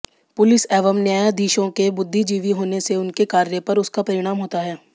police एवं न्यायाधीशों के बुद्धिजीवि होने से उनके कार्यपर उसका परिणाम होता है